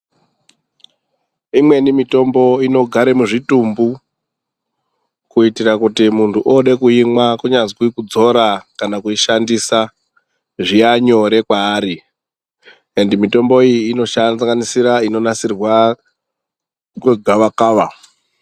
Imweni mitombo inogara muzvitumbu kuitira kuti muntu oode kuimwa kunyazi kudzora kana kuishandisa zviya nyore kwaari ende mitombo iyi inosanganisira inogadzirwa ange gavakava.